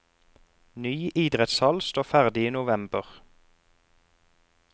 Ny idrettshall står ferdig i november.